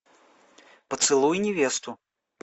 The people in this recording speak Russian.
поцелуй невесту